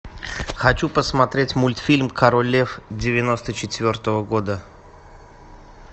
хочу посмотреть мультфильм король лев девяносто четвертого года